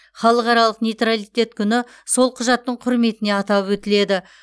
халықаралық нейтралитет күні сол құжаттың құрметіне атап өтіледі